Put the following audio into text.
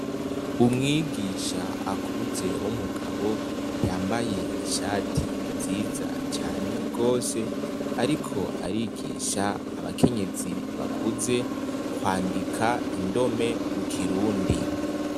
Umwigisha akuze w'umugabo yambaye ishati nziza cane gose ariko arigisha abakenyezi bakuze kwandika indome mu kirundi.